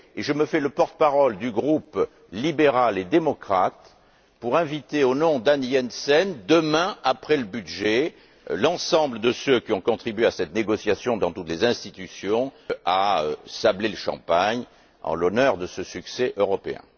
Je me fais le porte parole du groupe libéral et démocrate pour inviter, au nom d'Anne E. Jensen, demain, après le débat sur le budget, l'ensemble de ceux qui ont contribué à ces négociations dans toutes les institutions à sabler le champagne en l'honneur de ce succès européen.